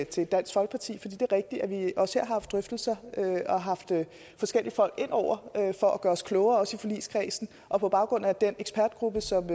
til dansk folkeparti det er rigtigt at vi også her har haft drøftelser og har haft forskellige folk ind over for at gøre os klogere også i forligskredsen og på baggrund af den ekspertgruppe som